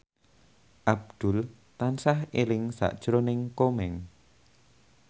Abdul tansah eling sakjroning Komeng